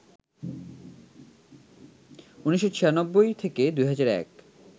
১৯৯৬ থেকে ২০০১